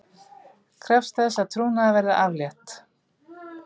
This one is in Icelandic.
Krefst þess að trúnaði verði aflétt